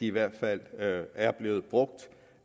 i hvert fald er blevet brugt